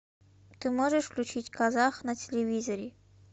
ты можешь включить казах на телевизоре